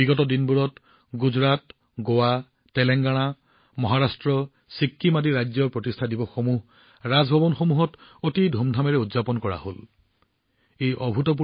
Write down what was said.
আগতে গুজৰাট গোৱা তেলেংগানা মহাৰাষ্ট্ৰ বা ছিকিম হওক বিভিন্ন ৰাজভৱনে যি উৎসাহেৰে প্ৰতিষ্ঠা দিৱস উদযাপন কৰিছিল সেয়া সঁচাকৈয়ে এক উদাহৰণ